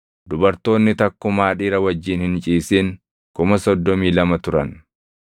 dubartoonni takkumaa dhiira wajjin hin ciisin 32,000 turan.